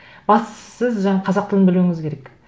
бастысы жаңа қазақ тілін білуіңіз керек